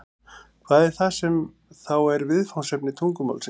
Hvað er það sem þá er viðfangsefni tungumálsins?